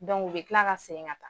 u bɛ kila ka segin ka